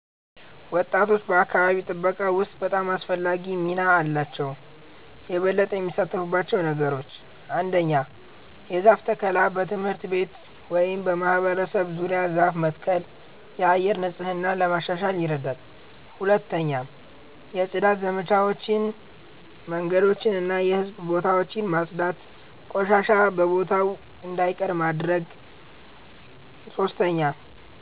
ወጣቶች በአካባቢ ጥበቃ ውስጥ በጣም አስፈላጊ ሚና አላቸው። 1)የበለጠ የሚሳተፉባቸው ነገሮች ? 1. የዛፍ ተከላ በትምህርት ቤት ወይም በማህበረሰብ ዙሪያ ዛፍ መትከል የአየር ንጽህና ለማሻሻል ይረዳል 2. የጽዳት ዘመቻዎች መንገዶችን እና የህዝብ ቦታዎችን ማጽዳት ቆሻሻ በቦታው እንዳይቀር ማድረግ ማድረግ 3.